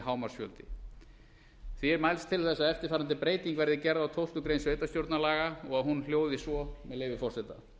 íbúafjöldi því er mælst til að eftirfarandi breyting verði gerð á tólftu greinar sveitarstjórnarlaga og hún hljóði svo með leyfi forseta